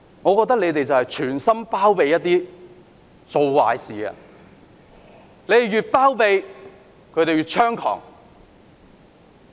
我覺得有議員存心包庇做壞事的人，他們越包庇，示威者便越猖狂。